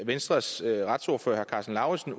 venstres retsordfører herre karsten lauritzen